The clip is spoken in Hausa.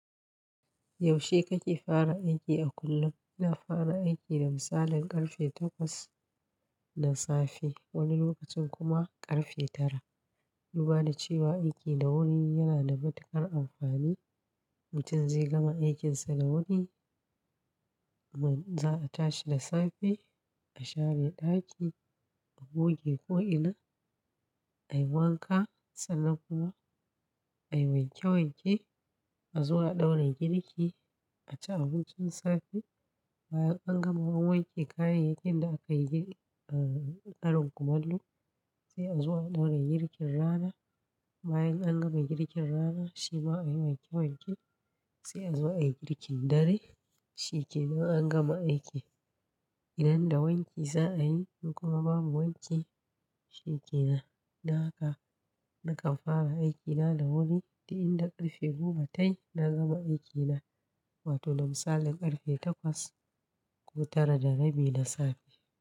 Yaushe kake fara aiki a kullum? Ina fara aiki da misalin karfe takwas na safe, wani lokacin kuma karfe tara. Duba da cewa aiki da wuri yana da matuƙar amfani. Mutum zai gama aikinsa da wuri, man za a tashi da safe, a share daki, a goge ko'ina, a yi wanka sannan kuma a yi wanke wanke, a zo a ɗaura girki, a ci abincin safe. Bayan an gama wanke kayayyakin da aka yi a karin kumallo, sai a zo a ɗaura girkin rana. Bayan an gama girkin rana shi ma a yi wanke wanke sai a zo a yi girkin dare. Shi kenan an gama aiki. Idan da wanki za a yi in kuma babu wanki, shi kenan. Don haka, nakan fara aikina da wuri, duk inda karfe goma tai na gama aikina. Wato na misalin karfe takwas ko tara da rabi na safe.